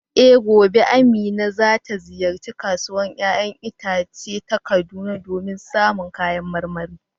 Eh, gobe Amina za ta ziyarci Kasuwar ‘ya’yan itace ta Kaduna domin samun kayan marmari.